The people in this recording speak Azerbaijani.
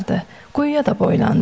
Quyuya da boylandı.